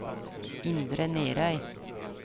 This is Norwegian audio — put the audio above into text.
Indre Nærøy